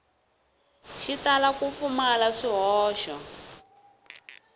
xi tala ku pfumala swihoxo